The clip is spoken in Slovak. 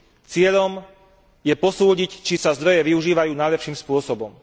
Cieľom je posúdiť, či sa zdroje využívajú najlepším spôsobom.